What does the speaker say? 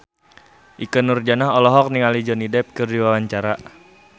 Ikke Nurjanah olohok ningali Johnny Depp keur diwawancara